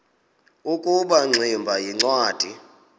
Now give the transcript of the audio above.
ukuba ingximba yincwadi